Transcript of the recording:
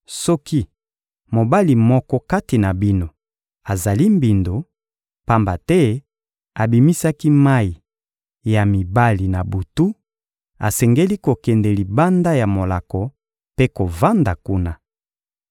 Soki mobali moko kati na bino azali mbindo, pamba te abimisaki mayi ya mibali na butu, asengeli kokende libanda ya molako mpe kovanda kuna.